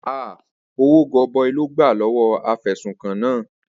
Ahh!! Owó gọbọi ló gbà lọ́wọ́ afẹ̀sùnkàn náà.